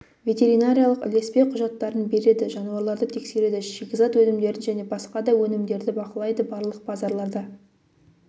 ветеринариялық ілеспе құжаттарын береді жануарларды тексереді шикізат өнімдерін және басқа да өнімдерді бақылайды барлық базарларда